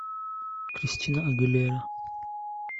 кристина агилера